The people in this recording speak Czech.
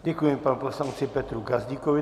Děkuji panu poslanci Petru Gazdíkovi.